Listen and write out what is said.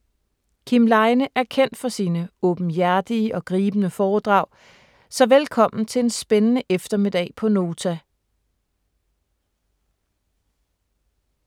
Kim Leine er kendt for sine åbenhjertige og gribende foredrag, så velkommen til en spændende eftermiddag på Nota.